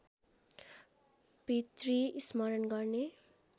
पितृ स्मरण गर्ने